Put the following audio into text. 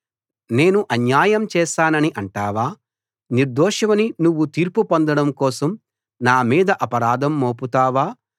నేను అన్యాయం చేసానని అంటావా నిర్దోషివని నువ్వు తీర్పు పొందడం కోసం నా మీద అపరాధం మోపుతావా